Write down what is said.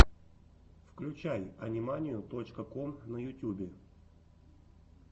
включай ани манию точка ком на ютюбе